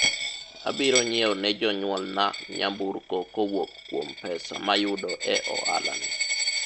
abiro nyiewo ne jonyuol na nyamburko kowuok kuom pesa mayudo e ohala ni